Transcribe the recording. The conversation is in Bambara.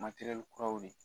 kuraw be